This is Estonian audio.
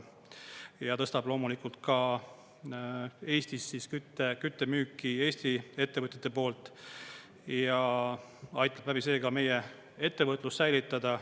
Ja see tõstab loomulikult ka Eestis küttemüüki Eesti ettevõtjate poolt ja aitab seega meie ettevõtlust säilitada.